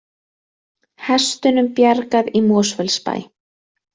Hestunum bjargað í Mosfellsbæ